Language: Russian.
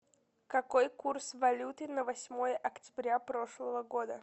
какой курс валюты на восьмое октября прошлого года